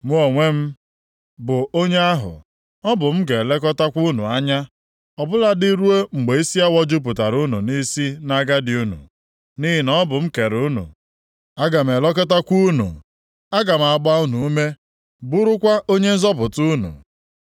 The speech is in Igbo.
Mụ onwe m, bụ onye ahụ, ọ bụ m ga-elekọtakwa unu anya, ọ bụladị ruo mgbe isi awọ jupụtara unu nʼisi, nʼagadi unu. Nʼihi na ọ bụ m kere unu, aga m elekọtakwa unu. Aga m agba unu ume, bụrụkwa onye nzọpụta unu.